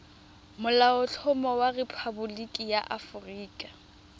molaotlhomo wa rephaboliki ya aforika